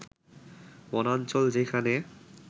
বনাঞ্চল যেখানে